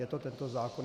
Je to tento zákon.